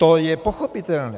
To je pochopitelné.